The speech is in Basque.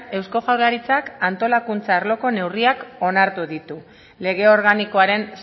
eusko jaurlaritzak antolakuntza arloko neurriak onartu ditu lege organikoaren